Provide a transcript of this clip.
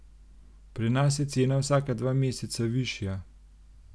Pri nas je cena vsaka dva meseca višja.